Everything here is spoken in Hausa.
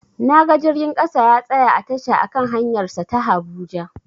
Naga jirgin ƙasa ya tsaya a tasha a kan hanyar sa ta habuja